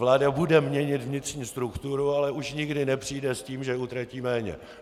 Vláda bude měnit vnitřní strukturu, ale už nikdy nepřijde s tím, že utratí méně.